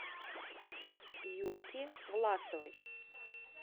юльки власовой